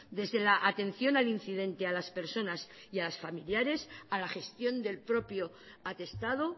desde la atención al incidente a las personas y a los familiares a la gestión del propio atestado